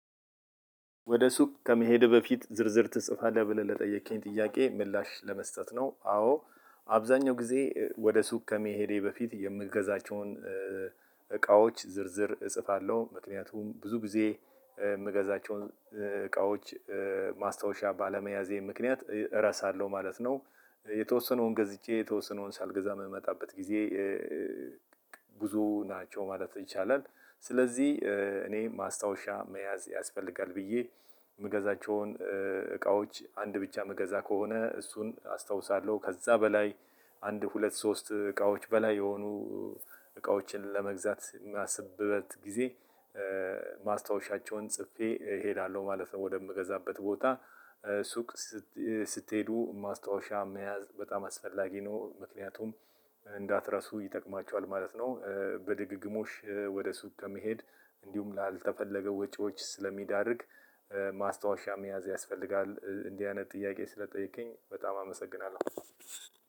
ወደ ሱቅ ከመሄድህ በፊት ዝርዝር ትጽፋለህ ብለህ ለጠየከኝ ጥያቄ ምላሽ ለመስጠት ነው? አዎ አብዛኛው ጊዜ ወደ ሱቅ ከመሄዴ በፊት የምገዛቸውን እቃዎች ዝርዝር እጽፋለሁ ምክንያቱም ብዙ ጊዜ የምገዛቸውን እቃዎች ማስታወሻ ባለመያዜ ምክንያት እረሳለሁ ማለት ነው። የተወሰነውን ገዝጄ የተወሰነውን ሳልገዛ የምመጣበት ጊዜ ብዙ ናቸው ማለት ይቻላል። ስለዚህ እኔ ማስታወሻ መያዝ ያስፈልጋል ብዬ የምገዛቸውን እቃዎች አንድ ብቻ የምገዛ ከሆነ እሱን አስታውሳለሁ ከዛ በላይ አንድ ሁለት ሶስት እቃዎች በላይ የሆኑ እቃዎችን ለመግዛት የማስብበት ጊዜ ማስታወሻቸውን ጽፌ እሄዳለሁ ማለት ነው። ወደምገዛበት ቦታ ሱቅ ስትሄዱ ማስታወሻ መያዝ በጣም አስፈላጊ ነው ምክንያቱም እንዳትረሱ ይጠቅማችኋል ማለት ነው። በድግግሞሽ ወደ ሱቅ ከመሄድ እንዲሁም ላልተፈለገ ወጪዎች ስለሚዳርግ ማስታወሻ መያዝ ያስፈልጋል እንዲህ አይነት ጥያቄ ስለጠየከኝ በጣም አመሰግናለሁ።